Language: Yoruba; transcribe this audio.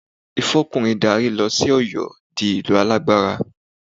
Ìfọkùnrin darí ló sọ Ọ̀yọ́ di ìlú alágbára